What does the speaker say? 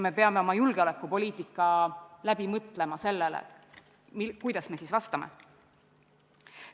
Me peame oma julgeolekupoliitika läbi mõtlema ka sellest seisukohast, kuidas me siis vastame.